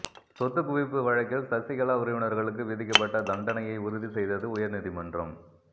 சொத்து குவிப்பு வழக்கில் சசிகலா உறவினர்களுக்கு விதிக்கப்பட்ட தண்டனையை உறுதிசெய்தது உயர்நீதிமன்றம்